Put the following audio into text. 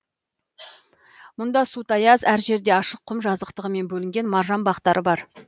мұнда су таяз әр жерде ашық құм жазықтығымен бөлінген маржан бақтары бар